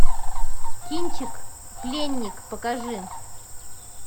кинчик пленник покажи